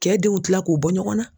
Kɛ denw kila k'o bɔ ɲɔgɔnna